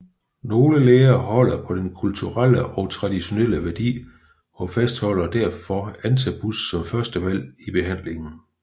Nogle læger holder på denne kulturelle og traditionelle værdi og fastholder derfor Antabus som førstevalg i behandlingen